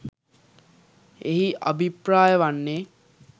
එහි අභිප්‍රාය වන්නේ